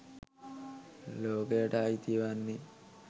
ලෝකයට අයිති වන්නේ